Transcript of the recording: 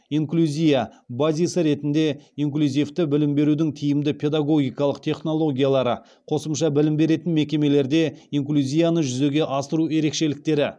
инклюзия базисі ретінде инклюзивті білім берудің тиімді педагогикалық технологиялары қосымша білім беретін мекемелерде инклюзияны жүзеге асыру ерекшеліктері